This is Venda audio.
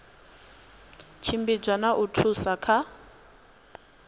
tshimbidza na u thusa kha